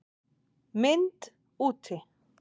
MYND úti